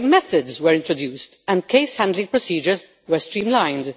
New working methods were introduced and case handling procedures were streamlined.